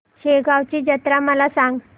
शेगांवची जत्रा मला सांग